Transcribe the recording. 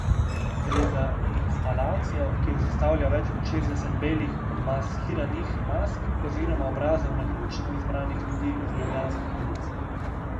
Gre za instalacijo, ki jo sestavlja več kot šestdeset belih, odmaskiranih mask, oziroma obrazov naključno izbranih ljudi z ljubljanskih ulic.